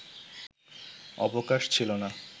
অবকাশ ছিল না